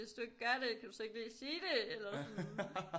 Hvis du ikke gør det kan du så ikke lige sige det eller sådan